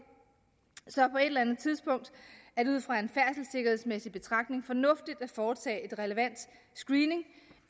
så på et eller andet tidspunkt er det ud fra en færdselssikkerhedsmæssig betragtning fornuftigt at foretage relevant screening